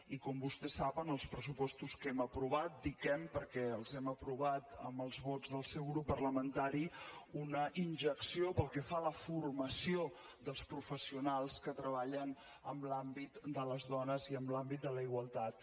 i com vostè sap en els pressupostos que hem aprovat dic hem perquè els hem aprovat amb els vots del seu grup parlamentari una injecció pel que fa a la formació dels professionals que treballen en l’àmbit de les dones i en l’àmbit de la igualtat